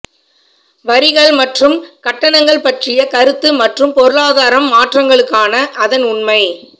வரிகள் மற்றும் கட்டணங்கள் பற்றிய கருத்து மற்றும் பொருளாதாரம் மாற்றங்களுக்கான அதன் உண்மை